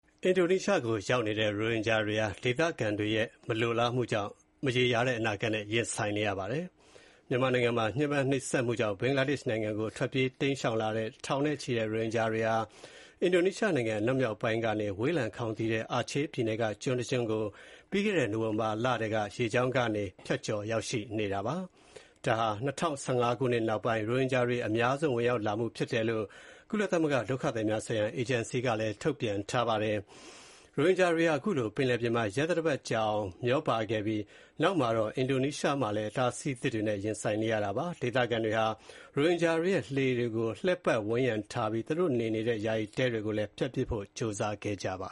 အင်ဒိုနီးရှားကိုရောက်နေတဲ့ ရိုဟင်ဂျာတွေဟာ ဒေသခံတွေရဲ့ မလိုလားမှုကြောင့် မရေရာတဲ့ အနာဂတ်နဲ့ ရင်ဆိုင်နေရပါတယ်။ မြန်မာနိုင်ငံမှာ ညှင်းပမ်းနှိပ်စက်မှုကြောင့် ဘင်္ဂလားဒေ့ရှ်နိုင်ငံကို ထွက်ပြေး တိမ်းရှောင်လာတဲ့ ထောင်နဲ့ချီတဲ့ ရိုဟင်ဂျာတွေဟာ အင်ဒိုနီးရှားနိုင်ငံ အနောက်မြောက်ပိုင်းက ဝေးလံခေါင်သီတဲ့ အာချေးပြည်နယ်က ကျွန်းတကျွန်းကို ပြီးခဲ့တဲ့ နိုဝင်ဘာလလယ်ထဲက ရေကြောင်းကနေရောက် ဖြတ်ကျော် ရောက်ရှိနေတာပါ။ ဒါဟာ ၂၀၁၅ ခုနှစ်နောက်ပိုင်း ရိုဟင်ဂျာတွေ အများဆုံး ဝင်ရောက်လာမှုဖြစ်တယ်လို့ ကုလသမဂ္ဂ ဒုက္ခသည်များဆိုင်ရာ အေဂျင်စီက ပြောပါတယ်။ ရိုဟင်ဂျာတွေဟာ ခုလိုပင်လယ်ပြင်မှာ ရက်သတ္တပတ်ကြာအောင် မျောပါခဲ့ပြီးတဲ့ နောက်မှာတော့ အင်ဒိုနီးရှားမှာလည်း အတားအဆီးအသစ်တွေနဲ့ ရင်ဆိုင်နေရတာပါ။ ဒေသခံတွေဟာ ရိုဟင်ဂျာတွေရဲ့ လှေတွေကို လှည့်ပတ်ဝန်းရံထားပြီး သူတို့နေထိုင်နေတဲ့ ယာယီတဲတွေကိုလည်း ဖျက်ပစ်ဖို့ ကြိုးစားနေကြတာပါ